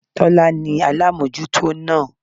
Tólá ní alámójútó náà